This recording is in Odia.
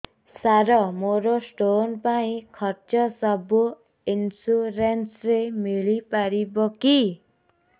ସାର ମୋର ସ୍ଟୋନ ପାଇଁ ଖର୍ଚ୍ଚ ସବୁ ଇନ୍ସୁରେନ୍ସ ରେ ମିଳି ପାରିବ କି